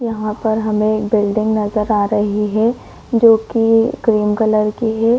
यहाँ पर हमें एक बिल्डिंग नजर आ रही है जो की क्रीम कलर की है।